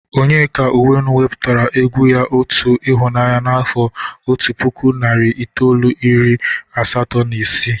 Onyeka Onwenu wepụtara egwu ya 'otu ịhụnaanya' n'afọ otu puku narị itoolu, iiri asató na isii.